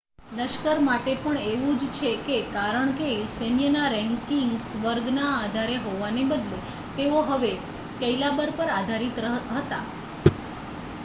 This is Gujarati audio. લશ્કર માટે પણ એવું જ છે કારણ કે સૈન્યના રેન્કિંગ્સ વર્ગના આધારે હોવાને બદલે તેઓ હવે કૈલાબર પર આધારિત હતા